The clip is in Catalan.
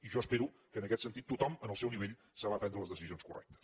i jo espero que en aquest sentit tothom en el seu nivell sabrà prendre les decisions correctes